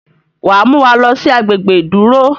wá Muwá loosi agbegbe iduro